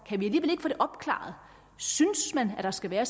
kan vi ikke få det opklaret synes man der skal være